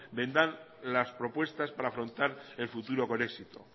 vendrán las propuestas para afrontar el futuro con éxito